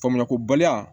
Faamuyali kobaliya